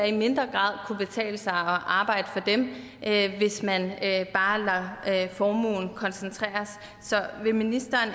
i mindre grad kunne betale sig at arbejde hvis man bare lader formuen koncentreres så vil ministeren